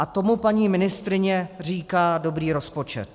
A tomu paní ministryně říká dobrý rozpočet.